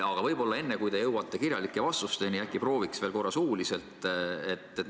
Aga enne, kui te jõuate kirjalike vastusteni, äkki prooviks veel korra suuliselt?